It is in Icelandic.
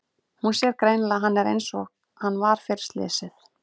Hún sér greinilega að hann er einsog hann var fyrir slysið.